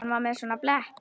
Hann var með svona blett.